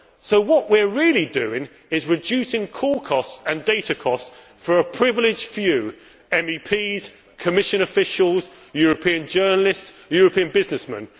So what we are really doing is reducing call costs and data costs for a privileged few MEPs, Commission officials, European journalists and European businessmen.